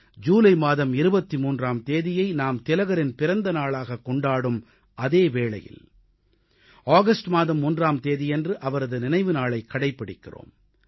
ஜூலை மாதம் 23ஆம் தேதியை நாம் திலகரின் பிறந்த நாளாகக் கொண்டாடும் அதே வேளையில் ஆகஸ்ட் மாதம் 1ஆம் தேதியன்று அவரது நினைவு நாளைக் கடைப்பிடிக்கிறோம்